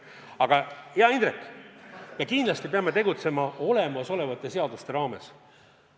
Aga, hea Indrek, me kindlasti peame tegutsema olemasolevate seaduste raames.